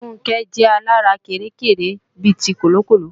Funke jẹ́ alárékérekè bi ti Kọ̀lọ̀kọ̀lọ̀